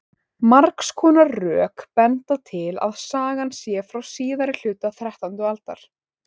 margs konar rök benda til að sagan sé frá síðari hluta þrettándu aldar